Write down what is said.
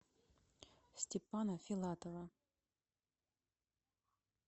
степана филатова